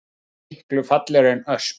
Hann er miklu fallegri en ösp